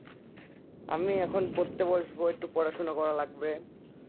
আমি এখন পড়তে বসবো একটু পড়াশোনা করা লাগবে